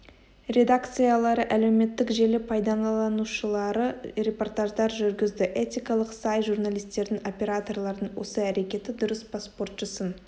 редакциялары әлеуметтік желі пайдаланушылары репортаждар жүргізді этикалық сай журналистердің операторлардың осы әрекеті дұрыс па спортшысын